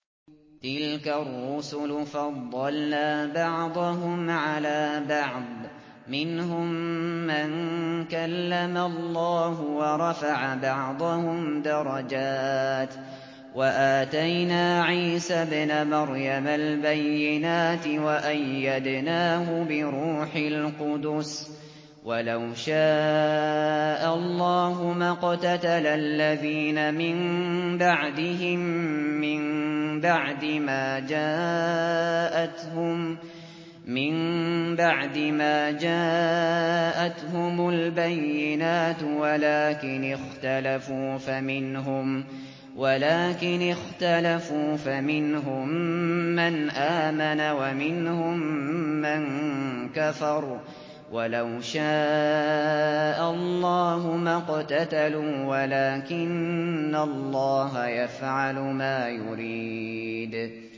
۞ تِلْكَ الرُّسُلُ فَضَّلْنَا بَعْضَهُمْ عَلَىٰ بَعْضٍ ۘ مِّنْهُم مَّن كَلَّمَ اللَّهُ ۖ وَرَفَعَ بَعْضَهُمْ دَرَجَاتٍ ۚ وَآتَيْنَا عِيسَى ابْنَ مَرْيَمَ الْبَيِّنَاتِ وَأَيَّدْنَاهُ بِرُوحِ الْقُدُسِ ۗ وَلَوْ شَاءَ اللَّهُ مَا اقْتَتَلَ الَّذِينَ مِن بَعْدِهِم مِّن بَعْدِ مَا جَاءَتْهُمُ الْبَيِّنَاتُ وَلَٰكِنِ اخْتَلَفُوا فَمِنْهُم مَّنْ آمَنَ وَمِنْهُم مَّن كَفَرَ ۚ وَلَوْ شَاءَ اللَّهُ مَا اقْتَتَلُوا وَلَٰكِنَّ اللَّهَ يَفْعَلُ مَا يُرِيدُ